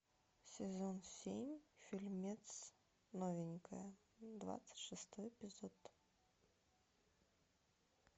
сезон семь фильмец новенькая двадцать шестой эпизод